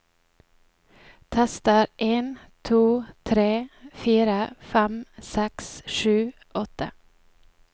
Tester en to tre fire fem seks sju åtte